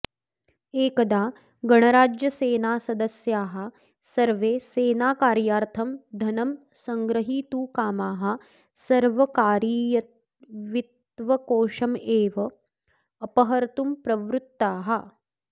एकदा गणराज्यसेनासदस्याः सर्वे सेनाकार्यार्थं धनं सङ्ग्रहीतुकामाः सर्वकारीयवित्त्वकोशमेव अपहर्तुं प्रवृत्ताः